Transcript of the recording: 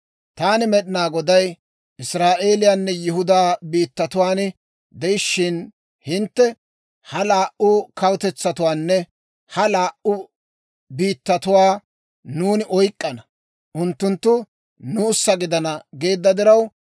« ‹Taani Med'inaa Goday Israa'eeliyaanne Yihudaa biittatuwaan de'ishiina hintte, ha laa"u kawutetsatuwaanne ha laa"u biittatuwaa nuuni oyk'k'ana; unttunttu nuussa gidana geedda diraw,